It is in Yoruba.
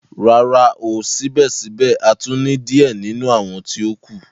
Rara, ko sibẹsibẹ a tun ni diẹ ninu awọn ti o kù.